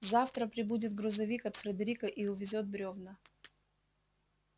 завтра прибудет грузовик от фредерика и увезёт бревна